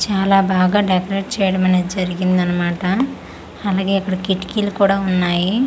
చాలా బాగా డెకోరేట్ చేయడం అనేది జరిగింది అన్నమాట అలాగే ఇక్కడ కిటికీలు కూడా ఉన్నాయి.